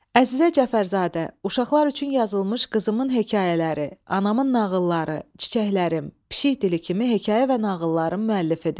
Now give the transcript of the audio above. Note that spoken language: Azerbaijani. Əzizə Cəfərzadə uşaqlar üçün yazılmış qızımın hekayələri, Anamın nağılları, Çiçəklərim, Pişik dili kimi hekayə və nağılların müəllifidir.